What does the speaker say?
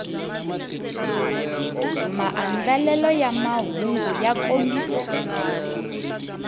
maandlelelo ya mahungu ya kombisa